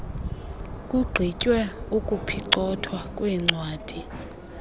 kugqitywe ukuphicothwa kweencwadi